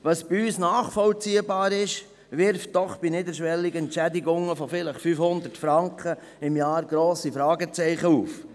Was für unsere Situation nachvollziehbar ist, wirft bei niederschwelligen Entschädigungen von vielleicht 500 Franken im Jahr grosse Fragezeichen auf.